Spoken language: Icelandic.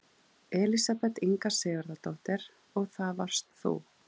Elísabet Inga Sigurðardóttir: Og það varst þú?